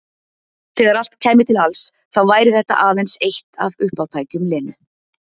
Þegar allt kæmi til alls þá væri þetta aðeins eitt af uppátækjum Lenu.